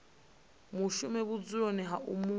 mushumi vhudzuloni ha u mu